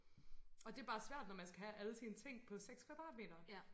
Og det bare svært når man skal have alle sine ting på 6 kvadratmeter